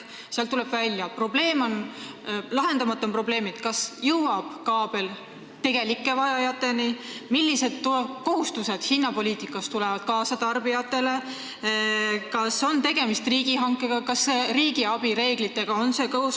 Sealt tuleb välja, et lahendamata on probleemid, kas kaabel jõuab tegelike vajajateni, millised kohustused tekivad tarbijatel hinnapoliitika tõttu, kas on tegemist riigihankega ja kas see on riigiabi reeglitega kooskõlas.